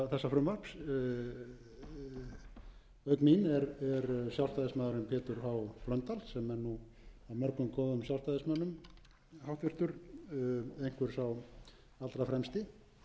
auk mín er sjálfstæðismaðurinn pétur h blöndal sem er af mörgum góðum sjálfstæðismönnum einhver sá allra fremsti